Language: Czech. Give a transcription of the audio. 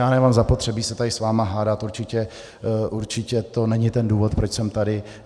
Já nemám zapotřebí se tady s vámi hádat, určitě to není ten důvod, proč jsem tady.